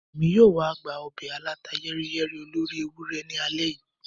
Emi yoo wa gba obe aláta-yẹ́riyẹ́rí olóri ewurẹ ni alẹ́ yìí.